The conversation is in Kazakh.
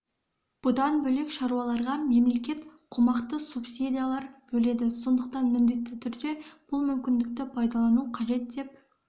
бұдан бөлек шаруаларға мемлекет қомақты субсидиялар бөледі сондықтан міндетті түрде бұл мүмкіндікті пайдалану қажет деп